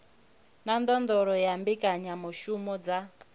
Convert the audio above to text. na ndondolo ya mbekanyamushumo dza